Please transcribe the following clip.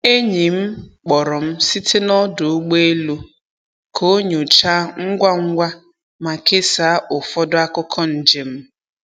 Enyi m kpọrọ m site n’ ọdụ ụgbọ elu ka ọ nyochaa ngwa ngwa ma kesaa ụfọdụ akụkọ njem.